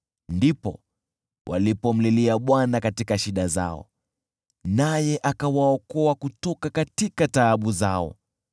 Ndipo walipomlilia Bwana katika shida yao, naye akawaokoa kutoka taabu yao.